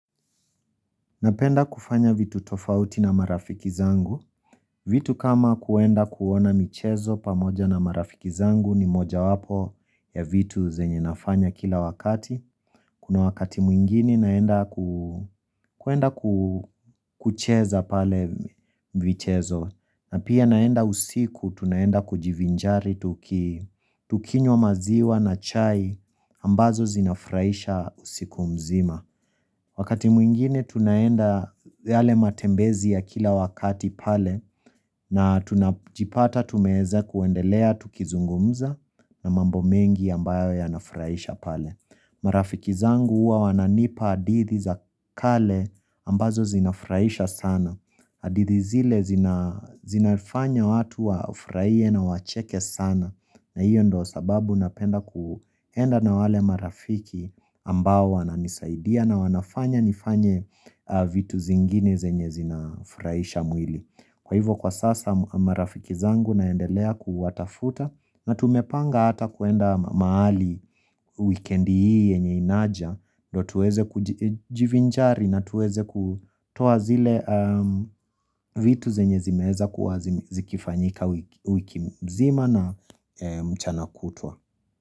Napenda kufanya vitu tofauti na marafiki zangu. Vitu kama kuenda kuona michezo pamoja na marafiki zangu ni moja wapo ya vitu zenye nafanya kila wakati. Kuna wakati mwingini naenda kuenda kucheza pale michezo. Na pia naenda usiku tunaenda kujivinjari tukinyo maziwa na chai ambazo zinafraisha usiku mzima. Wakati mwingine tunaenda yale matembezi ya kila wakati pale na tunajipata tumeze kuendelea tukizungumza na mambo mengi ambayo ya nafraisha pale. Marafiki zangu uwa wananipa adithi za kale ambazo zinafraisha sana. Adithi zile zinafanya watu wafurahie na wacheke sana na hiyo ndo sababu napenda kuenda na wale marafiki ambao wana nisaidia na wanafanya nifanye vitu zingine zenye zinafraisha mwili. Kwa hivyo kwa sasa marafiki zangu naendelea kuwatafuta na tumepanga hata kuenda mahali weekendi hii yenye inaja ndo tuweze kujivinjari na tuweze kutoa zile vitu zenye zimeza kuwa zikifanyika wiki mzima na mchanakutwa.